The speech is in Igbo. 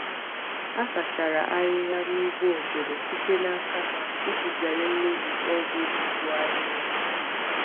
A sachara ahịhịa n’ugbo ogede site n’aka mmadụ iji zere mmebi ọgwụ zere mmebi ọgwụ mgbu ahịhịa.